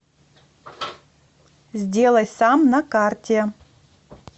сделай сам на карте